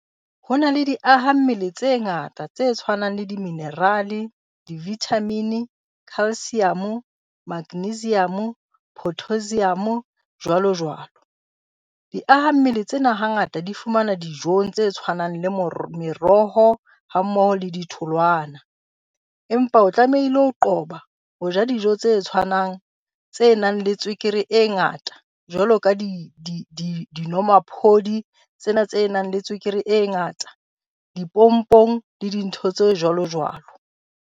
Ho na le di-aha-mmele tse ngata tse tshwanang le diminerale, divithamine, calcium-o, magnesium-o, pottasium-o jwalo jwalo. Di-aha-mmele tsena hangata di fumanwa dijong tse tshwanang le meroho hammoho le ditholwana. Empa o tlamehile ho qoba ho ja dijo tse tshwanang tse nang le tswekere e ngata jwalo ka dinomaphodi tsena tse nang le tswekere e ngata, dipompong le dintho tse jwalo jwalo.